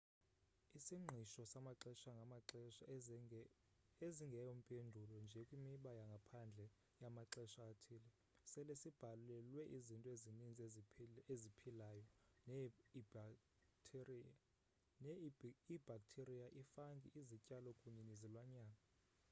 isingqisho samaxesha ngamaxesha ezingeyompendulo nje kwimiba yangaphandle yamaxesha athile sele sibhalelwe izinto ezininzi eziphilayo nee ibhaktiriya ifungi izityalo kunye nezilwanyana